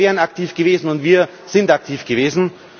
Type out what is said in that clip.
Wir wären aktiv gewesen, und wir sind aktiv gewesen.